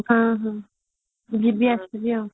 ହଁ ହଁ ଯିବି ଆସିବି ଆଉ